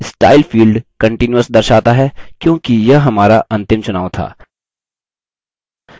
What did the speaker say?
style field continuous दर्शाता है क्योंकि यह हमारा अंतिम चुनाव था